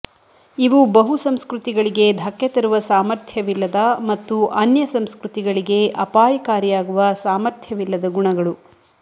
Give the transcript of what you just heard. ಇವು ಬಹುಸಂಸ್ಕೃತಿಗಳಿಗೆ ಧಕ್ಕೆ ತರುವ ಸಾಮರ್ಥ್ಯವಿಲ್ಲದ ಮತ್ತು ಅನ್ಯಸಂಸ್ಕೃತಿಗಳಿಗೆ ಅಪಾಯಕಾರಿಯಾಗುವ ಸಾಮರ್ಥ್ಯವಿಲ್ಲದ ಗುಣಗಳು